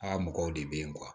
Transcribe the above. Aa mɔgɔw de bɛ yen